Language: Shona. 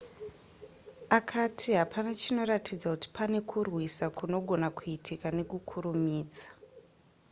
akati hapana chinoratidza kuti pane kurwisa kunogona kuitika nekukurumidza